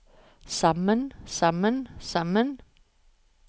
sammen sammen sammen